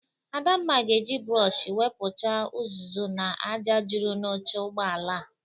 Adamna ga-eji brọshi wepụcha ụzụzụ na aja jụrụ n'oche ụgbọala a.